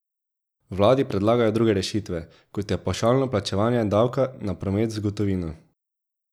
Vladi predlagajo druge rešitve, kot je pavšalno plačevanje davka na promet z gotovino.